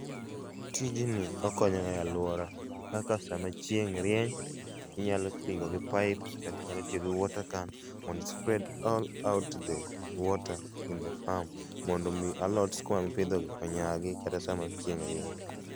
Tijni okonyo wa e aluora. Kaka sama chieng' rieny inyalo toyo gi pipes kata inyalo tiyo gi water camp mondo i spread all out the water in the farm mondo mi alot skuma mipidho ni onyagi kata sama chieng' rieny